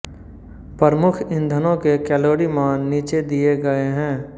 प्रमुख ईंधनों के कैलोरी मान नीचे दिये गये हैं